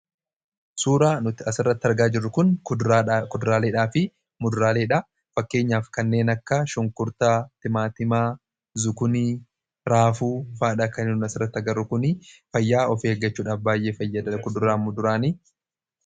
suuraa nuti as irratti argaa jirru kun kuduraaleedhaa fi muduraaleedha fakkeenyaaf kanneen akka shunkurtaa, timaatimaa ,zukunii, raafuufaadha. kaniin nuti as irratti agaru kunifayyaa ,of eeggachuudha afbaay'ee fayyada kuduraafi muduraani